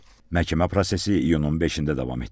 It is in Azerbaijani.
Məhkəmə prosesi iyunun 5-də davam etdiriləcək.